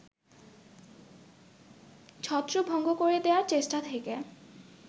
ছত্রভঙ্গ করে দেয়ার চেষ্টা থেকে